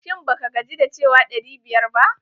Shin ba ka gaji da cewa ɗari biyar ba?